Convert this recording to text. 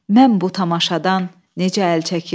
Mən bu tamaşadan necə əl çəkim?